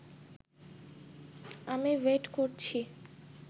আমি ওয়েট করছি